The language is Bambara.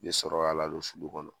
Be sɔrɔ k'a ladon sulu kɔnɔ.